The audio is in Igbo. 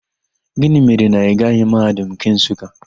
Gịnị mere na ị gaghị Mahadum nke Nsụka?